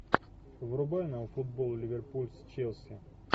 врубай нам футбол ливерпуль с челси